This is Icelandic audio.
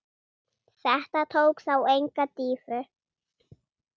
Þetta tók þó enga dýfu.